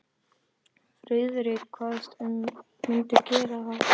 Friðrik kvaðst mundu gera það.